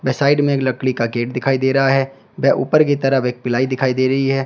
Side में एक लकड़ी का गेट दिखाई दे रहा है व ऊपर की तरफ एक प्लाई दिखाई दे रही है।